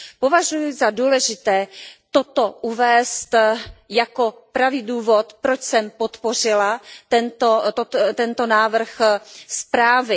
Považuji za důležité toto uvést jako pravý důvod, proč jsem podpořila tento návrh zprávy.